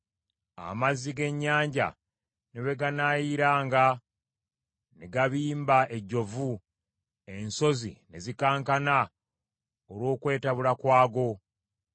amazzi g’ennyanja ne bwe ganaayiranga ne gabimba ejjovu ensozi ne zikankana olw’okwetabula kwago.